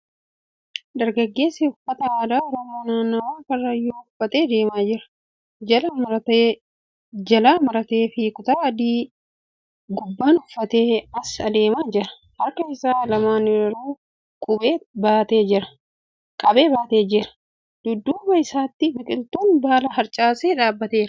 Dargageessi uffata aadaa Oromoo naannawaa Karrayyuu uffate deemaa jira. Jalaa marataa fi kutaa adii gubbaan uffatee as adeemaa jira. Harka isaa lamaaniruu qabee baatee jira. Dudduuba isaatti biqiltuun baala harcaase dhaabbateera.